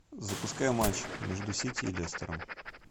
запускай матч между сити и лестером